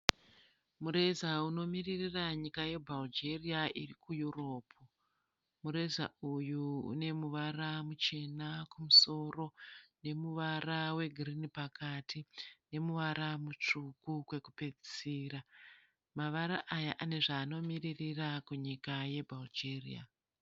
Mureza unomirira nyika yeBulgaria iri kuEurope. Mureza uyu une muvara muchena kumusoro nemuvara wegirini pakati nemuvara mutsvuku kwekupedzisira. Mavara aya ane zvaanomiririra kunyika yeBulgaria.